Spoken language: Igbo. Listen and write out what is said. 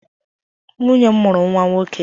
Nwunye m mụrụ nwa nwoke.